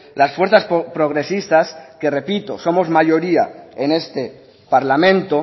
las fuerzas progresistas que repito somos mayoría en este parlamento